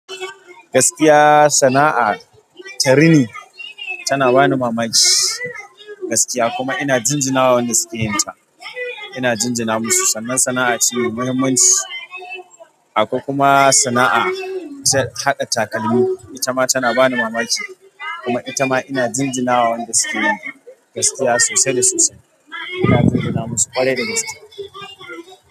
Gaskiya sana'a ta rini tana bani mamaki, gaskiya kuma ina jinjina wa wanda suke yin ta. Ina jinjina musu sannan sana'a ce mai muhimmanci. Akwai kuma sana'a ta haɗa takalmi, ita ma tana bani mamaki kuma itama ina jinjina wa wanda sukeyin ta. Gaskiya sosai da sosai ina jinjina musu ƙwarai da gaske.